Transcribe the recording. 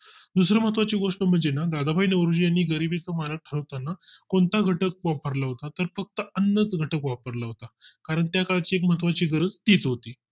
दुसरी महत्त्वाची गोष्ट म्हणजे ना दादाभाई नौरोजी यांनी गरीबीचा मारक ठरवताना कोणता घटक वापरला होता तर फक्त अन्नच घटक वापरला होता कारण त्या काळ ची महत्त्वाची गरज हीच होती